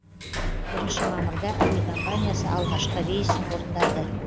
бірінші мамырда әуе компаниясы алғашқы рейсін орындады